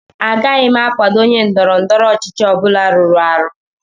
Agaghị m akwado onye ndọrọ ndọrọ ọchịchị ọ bụla rụrụ arụ